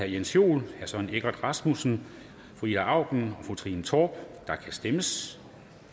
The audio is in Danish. jens joel søren egge rasmussen ida auken og trine torp og der kan stemmes